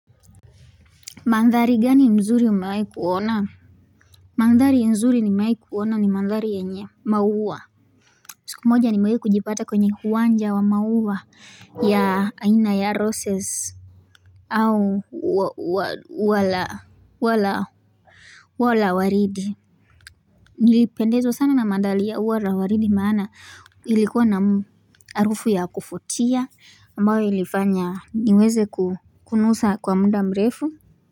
Mandhari gani mzuri umewahi kuona Mandhari mzuri nimewahi kuona ni mandhari yenye maua siku moja nimewahi kujipata kwenye uwanja wa maua ya aina ya roses au ua la ua la waridi Nilipendezwa sana na mandhari ya ua la waridi maana ilikuwa na harufu ya kuvutia ambayo ilifanya niweze ku kunusa kwa muda mrefu.